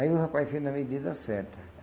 Aí o rapaz fez na medida certa.